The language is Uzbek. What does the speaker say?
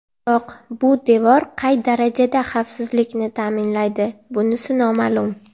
Biroq bu devor qay darajada xavfsizlikni ta’minlaydi, bunisi noma’lum.